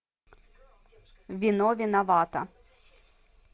вино виновато